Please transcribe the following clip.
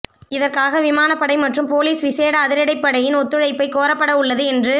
இதற்காக விமானப்படை மற்றும் பொலிஸ் விசேட அதிரடிப்படையின் ஒத்துழைப்பை கோரப்படவுள்ளது என்று